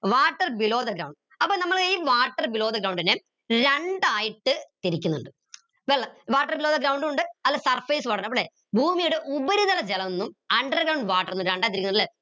water below the ground അപ്പൊ നമ്മളെ ഈ water below the ground നെ ഞാൻ രണ്ടായിട്ട് തിരിക്കിന്നിണ്ട് വെള്ളം water below the ground ഉ ഉണ്ട് surface water ഉണ്ട് അല്ലെ ഭൂമിയുടെ ഉപരിതല ജലമെന്നും underground water നെ രണ്ടായി തിരിക്കിന്നിണ്ട് ല്ലെ